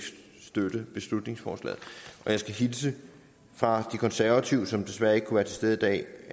støtte beslutningsforslaget og jeg skal hilse fra de konservative som desværre ikke kan være til stede i dag